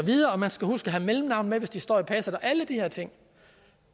og man skal huske at have mellemnavn hvis det står i passet og alle de her ting